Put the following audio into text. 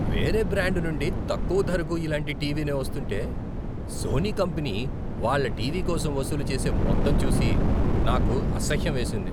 వేరే బ్రాండ్ నుండి తక్కువ ధరకు ఇలాంటి టీవీనే వస్తుంటే, సోనీ కంపెనీ, వాళ్ళ టీవీ కోసం వసూలు చేసే మొత్తం చూసి నాకు అసహ్యం వేసింది.